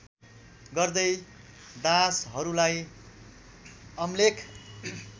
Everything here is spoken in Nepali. गर्दै दासहरूलाई अमलेख